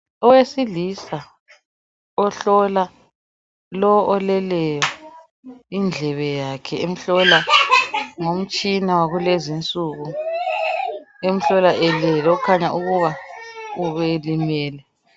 Owesilisa ohlola lo oleleyo indlebe yakhe emhlola ngomtshina wakulezi insuku emhlola elele okukhanya ukuthi ubelimele